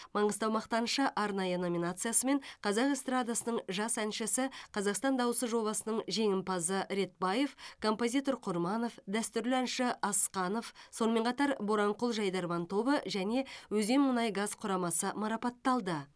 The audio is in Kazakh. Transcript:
маңғыстау мақтанышы арнайы номинациясымен қазақ эстрадасының жас әншісі қазақстан дауысы жобасының жеңімпазы ретбаев композитор құрманов дәстүрлі әнші асқанов сонымен қатар боранқұл жайдарман тобы және өзенмұнайгаз құрамасы марапатталды